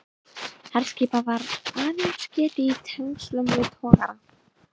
Herskipa var aðeins getið í tengslum við togara.